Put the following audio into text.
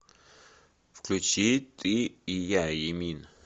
включи ты и я эмин